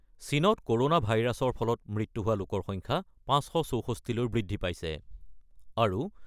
চীনত ক'ৰ'ণা ভাইৰাছৰ ফলত মৃত্যু হোৱা লোকৰ সংখ্যা ৫৬৪ লৈ বৃদ্ধি পাইছে। আৰু